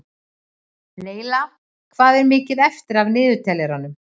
Laila, hvað er mikið eftir af niðurteljaranum?